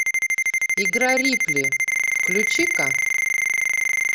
игра рипли включи ка